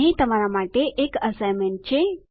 અહીં તમારા માટે એક એસાઈનમેન્ટ છે